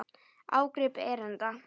Ágrip erinda.